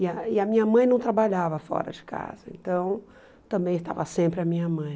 E a e a minha mãe não trabalhava fora de casa, então também estava sempre a minha mãe.